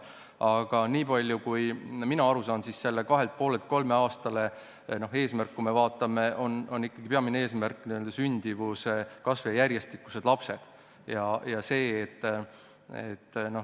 Aga niipalju kui mina aru saan, sellelt kahelt ja poolelt aastalt kolmele aastale viimise peamine eesmärk on ikkagi sündimuse kasv ja järjestikused lapsed.